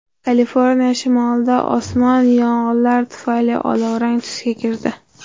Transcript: Kaliforniya shimolida osmon yong‘inlar tufayli olovrang tusga kirdi.